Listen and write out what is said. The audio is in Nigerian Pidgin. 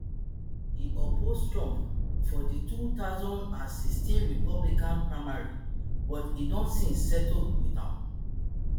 e oppose trump for di two thousand and sixteen republican primary but don since settle with am